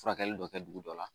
Furakɛli dɔ kɛ dugu dɔ la